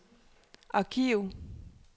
arkiv